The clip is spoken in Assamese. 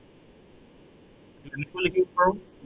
এনেকৈয়ো লিখিব পাৰো।